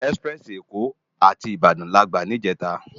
Òná èsipirèsi Ékò àti Ibadan làgbá nijètá